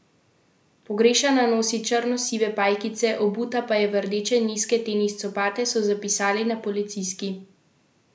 Pogrešana nosi črno sive pajkice, obuta pa je v rdeče nizke tenis copate, so zapisali na Policijski upravi Maribor.